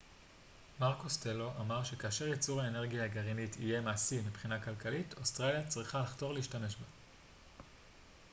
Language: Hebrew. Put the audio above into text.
מר קוסטלו אמר שכאשר ייצור האנרגיה הגרעינית יהיה מעשי מבחינה כלכלית אוסטרליה צריכה לחתור להשתמש בה